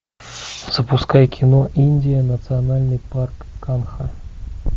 запускай кино индия национальный парк канха